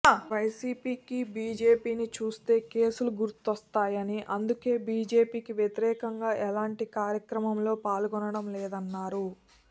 వైసీపీకీ బీజేపీని చూస్తే కేసులు గుర్తొస్తాయని అందుకే బీజేపీకి వ్యతిరేకంగా ఎలాంటి కార్యక్రమంలో పాల్గొనడం లేదన్నారు